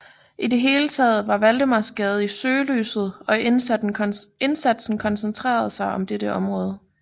I det hele taget var Valdemarsgade i søgelyset og indsatsen koncentreredes om dette område